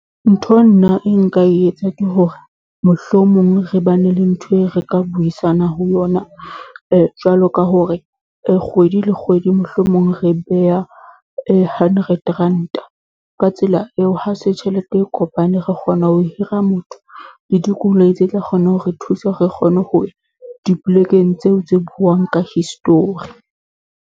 Ntho nna e nka e etsa ke hore, mohlomong re ba ne le ntho eo re ka buisana ho yona, jwalo ka hore kgwedi le kgwedi mohlomong re beha hundred ranta. Ka tsela eo, ha se tjhelete e kopane, re kgona ho hira motho le dikoloi tse tla kgona hore thusa hore re kgone ho ya dipolekeng tseo tse buang ka history.